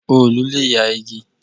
Òòlù le ya igi.